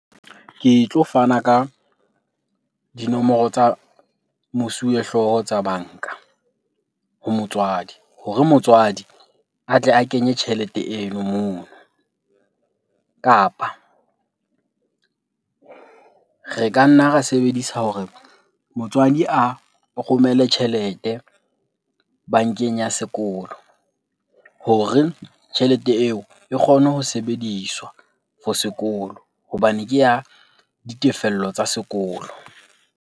Ke tlo fana ka dinomoro tsa mosuwehlooho tsa banka ho motswadi hore motswadi a tle a kenye tjhelete eno mono. Kapa re ka nna ra sebedisa hore motswadi a romele tjhelete bankeng ya sekolo hore tjhelete eo e kgone ho sebediswa for sekolo hobane ke ya ditefello tsa sekolo.